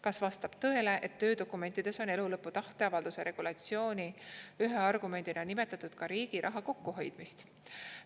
Kas vastab tõele, et töödokumentides on elulõpu tahteavalduse regulatsiooni ühe argumendina nimetatud ka riigi raha kokkuhoidmist?